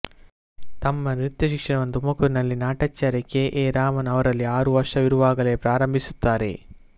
ತಮ್ಮ ನೃತ್ಯ ಶಿಕ್ಷಣವನ್ನು ತುಮಕೂರಿನಲ್ಲಿ ನಾಟ್ಯಾಚಾರ್ಯ ಕೆ ಎ ರಾಮನ್ ಅವರಲ್ಲಿ ಆರು ವರ್ಷವಿರುವಾಗಲೇ ಪ್ರಾರಂಭಿಸುತ್ತಾರೆ